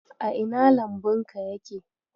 A ina lambunka yake?